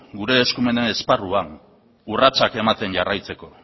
gure eskumena esparruan urratsak ematen jarraitzeko